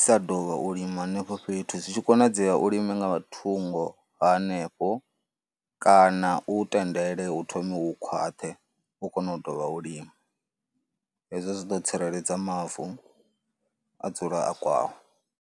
sa dovha u lima henefho fhethu, zwi tshi konadzea u lime nga thungo hanefho kana u tendele u thome u khwaṱhe, u kone u ḓovha u lime, hezwo zwi ḓo tsireledza mavu a dzula a kwawo.